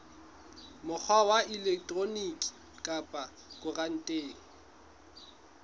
mokgwa wa elektroniki kapa khaontareng